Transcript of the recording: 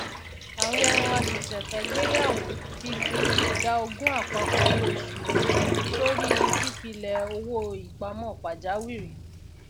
àwọn àṣẹṣẹfẹgbéyàwó ti fi ìdá ogún àpapọ owó oṣù wọn sọrí i pípilẹ owó ìpamọ pàjáwìrì